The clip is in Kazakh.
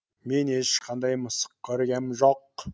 мен ешқандай мысық көргем жоқ